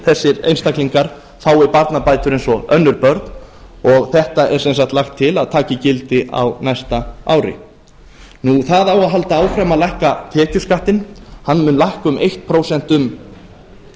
þessir einstaklingar fái barnabætur eins og önnur börn og þetta er sem sagt lagt til að taki gildi á næsta ári það á að halda áfram að lækka tekjuskattinn hann mun lækka um eitt prósent